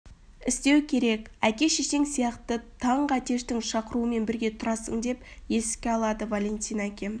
істеу керек әке шешең сияқты таңғы әтештің шақыруымен бірге тұрасың деп еске алады валентин әкем